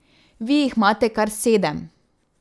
Vi jih imate kar sedem.